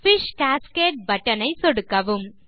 fish cascade button ஐ சொடுக்கவும்